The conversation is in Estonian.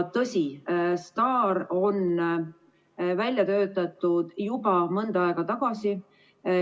Tõsi, STAR on välja töötatud juba mõnda aega tagasi.